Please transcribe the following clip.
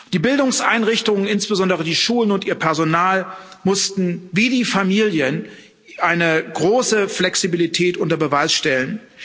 Die Bildungseinrichtungen, insbesondere die Schulen und ihr Personal, mussten, wie die Familien, eine große Flexibilität unter Beweis stellen.